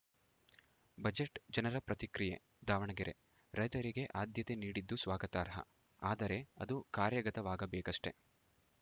budget ಜನರ ಪ್ರತಿಕ್ರಿಯೆ ದಾವಣಗೆರೆ ರೈತರಿಗೆ ಆದ್ಯತೆ ನೀಡಿದ್ದು ಸ್ವಾಗತಾರ್ಹ ಆದರೆ ಅದು ಕಾರ್ಯಗತವಾಗಬೇಕಷ್ಟೆ